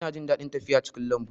Ina jin daɗin tafiya cikin lambu